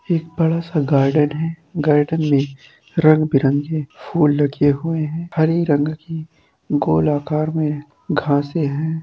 एक बड़ा सा गार्डन है गार्डन मे रंग-बिरंगे फूल लगे हुए हैं हरी रंग की गोल आकार मे घाँसे हैं।